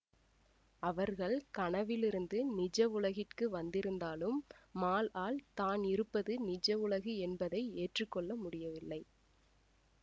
அவர்கள் கனவிலிருந்து நிஜவுலகிற்கு வந்திருந்தாலும் மால் ஆல் தான் இருப்பது நிஜ உலகு என்பதை ஏற்றுக்கொள்ள முடியவில்லை